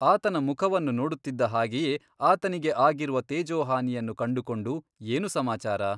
ಆತನ ಮುಖವನ್ನು ನೋಡುತ್ತಿದ್ದ ಹಾಗೆಯೇ ಆತನಿಗೆ ಆಗಿರುವ ತೇಜೋಹಾನಿಯನ್ನು ಕಂಡುಕೊಂಡು ಏನು ಸಮಾಚಾರ?